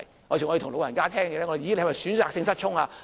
有時候我們會問老人家，"你是否選擇性失聰？